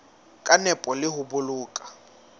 ka nepo le ho boloka